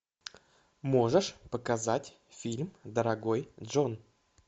можешь показать фильм дорогой джон